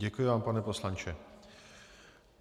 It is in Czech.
Děkuji vám, pane poslanče.